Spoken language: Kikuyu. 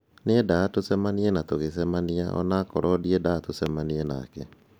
Niendaga tucemanie na tugĩcemania, onawakro ndĩendaga gũcemania nake